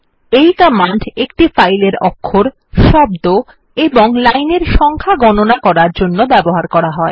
এই কমান্ড একটি ফাইলের অক্ষর শব্দ এবং লাইনের সংখ্যা গণনা করার জন্য ব্যবহার করা হয়